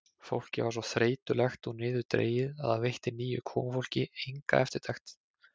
Fólkið var svo þreytulegt og niðurdregið að það veitti nýju komufólki enga eftirtekt.